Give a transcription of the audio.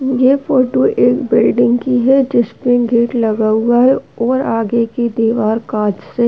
ये फोटो एक बिल्डिंग की है जिसपे गेट लगा हुआ है और आगे की दीवार कांच से --